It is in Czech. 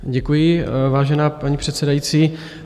Děkuji, vážená paní předsedající.